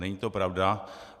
Není to pravda.